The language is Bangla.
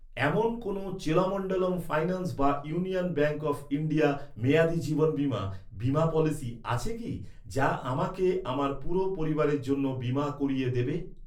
এমন কোন চোলামণ্ডলম ফাইন্যান্স বা ইউনিয়ন ব্যাঙ্ক অফ ইন্ডিয়া মেয়াদি জীবন বীমা, বীমা পলিসি আছে কি, যা আমাকে আমার পুরো পরিবারের জন্য বীমা করিয়ে দেবে?